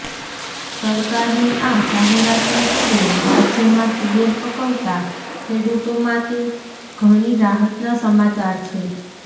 સરકારની આ જાહેરાતને પગલે રાજયમાં તુવેર પકવતા ખેડૂતો માટે ઘણી રાહતના સમાચાર છે